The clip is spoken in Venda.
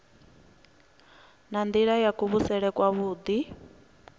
ha nila ya kuvhusele kwavhui